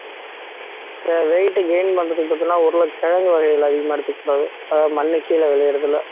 weight gain பண்றதுக்கு பாத்தீங்கன்னா உருள கிழங்கு வகைகள் அதிகமா எடுத்துக்க கூடாது அதாவது மண்ணு கீழே விளையறது எல்லா